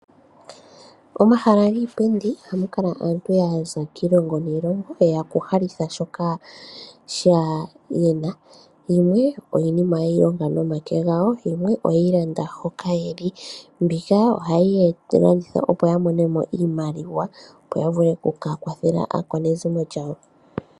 Omahala giipindi oha mu kala aantu ya za kiilongo niilongo ye ya okulahalitha shoka ye na. Yimwe iinima ye yi longa nomake gawo yimwe oye yi landa hoka ye li. Mbika oha yi ya, eta yi landithwa opo ya mone mo iimaliwa, opo ya vule oku ka kwathele aakwanezimo ya wo.